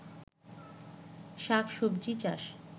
শাক সবজি চাষ